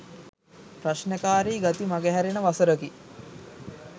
ප්‍රශ්නකාරී ගති මගහැරෙන වසරකි.